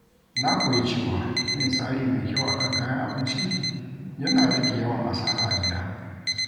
Na koyi cewa yin tsari mai kyau a kan kayan abinci yana rage yawan asara a gida.